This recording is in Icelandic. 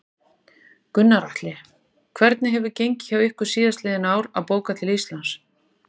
Gunnar Atli: Hvernig hefur gengið hjá ykkur síðastliðin ár að bóka til Íslands?